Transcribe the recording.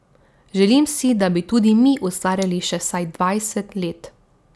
Želim si, da bi tudi mi ustvarjali še vsaj dvajset let.